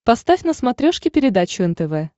поставь на смотрешке передачу нтв